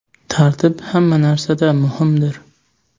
Tartib hamma narsada muhimdir.